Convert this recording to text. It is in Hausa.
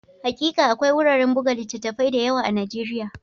Hakika, akwai wuraren buga littattafai da yawa a Nijeriya